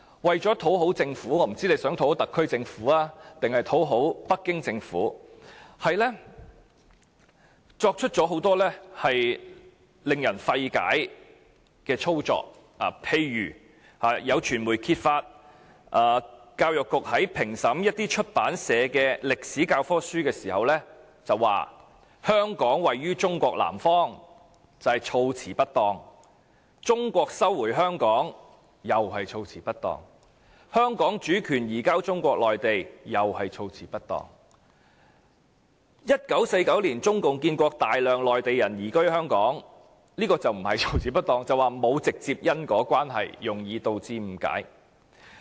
為了討好政府——我不知道是想討好特區政府，還是北京政府——課程發展處作出很多令人費解的舉措，例如有傳媒揭發教育局在評審出版社的歷史教科書時，指書中寫"香港位於中國南方"是措辭不當，"中國收回香港"又是措辭不當，"香港主權移交中國內地"同樣是措辭不當。再者 ，"1949 年中共建國，大量內地人移居香港"這描述則不是措辭不當，而是指兩者沒有直接因果關係，容易導致誤解。